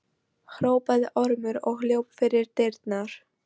hrópaði Ormur og hljóp fyrir dyrnar.